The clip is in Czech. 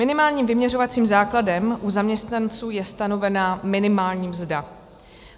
Minimálním vyměřovacím základem u zaměstnanců je stanovená minimální mzda.